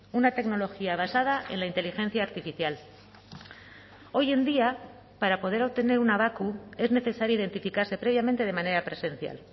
una tecnología basada en la inteligencia artificial hoy en día para poder obtener una bakq es necesario identificase previamente de manera presencial